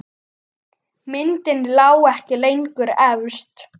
Myndin lá ekki lengur efst.